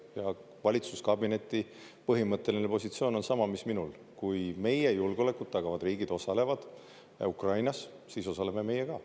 Ja valitsuskabineti põhimõtteline positsioon on sama, mis minul: kui meie julgeolekut tagavad riigid osalevad Ukrainas, siis osaleme meie ka.